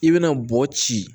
I bɛna bɔ ci